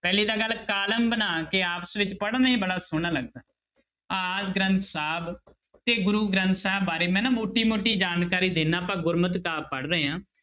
ਪਹਿਲੀ ਤੀ ਗੱਲ column ਬਣਾ ਕੇ ਆਪਸ ਵਿੱਚ ਪੜ੍ਹਨੇ ਬੜਾ ਸੋਹਣਾ ਲੱਗਦਾ, ਆਦਿ ਗ੍ਰੰਥ ਸਾਹਿਬ ਤੇ ਗੁਰੂ ਗ੍ਰੰਥ ਸਾਹਿਬ ਬਾਰੇ ਮੈਂ ਨਾ ਮੋਟੀ ਮੋਟੀ ਜਾਣਕਾਰੀ ਦਿਨਾ ਆਪਾਂ ਗੁਰਮਤ ਕਾਵਿ ਪੜ੍ਹ ਰਹੇ ਹਾਂ।